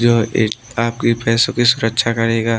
जो आपकी पैसों की सुरक्षा करेगा।